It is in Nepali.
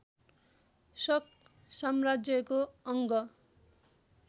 शक साम्राज्यको अङ्ग